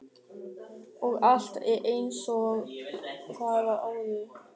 Og allt er einsog það var áður.